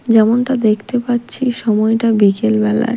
যেমনটা দেখতে পাচ্ছি সময়টা বিকেল বেলার।